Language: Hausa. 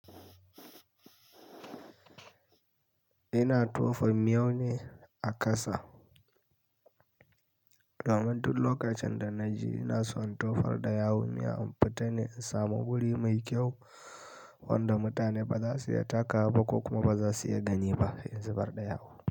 Ina tofar miyau ne a kasa. Damar dun lokacin da na ji ina son tofar ɗaya wuya in fitane in samu wuri mai kyau wanda mutane ba za su iya taka ba ko kuma ba za su iya gani ba in zubar ɗaya wuya.